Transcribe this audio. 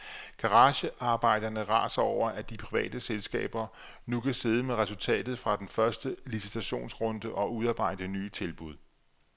Garagearbejderne raser over, at de private selskaber nu kan sidde med resultatet fra den første licitationsrunde og udarbejde nye tilbud.